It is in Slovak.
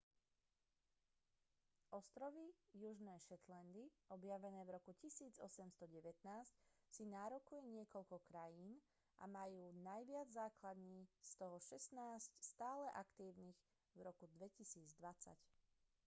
ostrovy južné shetlandy objavené v roku 1819 si nárokuje niekoľko krajín a majú najviac základní z toho šestnásť stále aktívnych v roku 2020